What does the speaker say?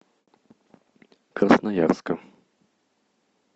красноярска